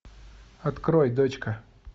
открой дочка